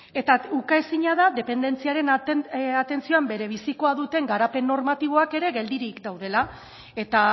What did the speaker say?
eta uka ezina da dependentziaren atentzioan berebizikoa duten garapen normatiboak ere geldirik daudela eta